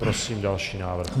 Prosím další návrh.